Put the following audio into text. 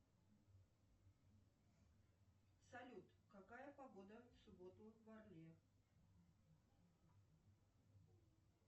салют какая погода в субботу в орле